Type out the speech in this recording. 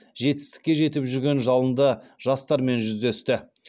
жетістікке жетіп жүрген жалынды жастармен жүздесті